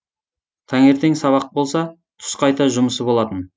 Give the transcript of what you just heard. таңертең сабақ болса түс қайта жұмысы болатын